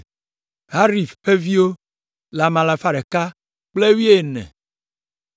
Harif ƒe viwo le ame alafa ɖeka kple wuiene (112).